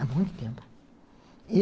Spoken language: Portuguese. Há muito tempo.